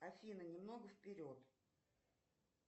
афина немного вперед